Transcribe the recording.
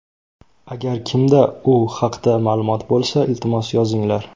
Agar kimda u haqda ma’lumot bo‘lsa, iltimos yozinglar.